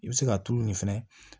I bɛ se k'a turu nin fɛnɛ